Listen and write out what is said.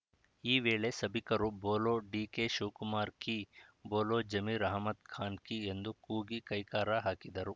ಈ ವೇಳೆ ಸಭಿಕರು ಬೋಲೋ ಡಿಕೆಶಿವಕುಮಾರ್‌ ಕೀ ಬೋಲೋ ಜಮೀರ್‌ ಅಹಮದ್‌ ಖಾನ್‌ ಕೀ ಎಂದು ಕೂಗಿ ಕೈಕಾರ ಹಾಕಿದರು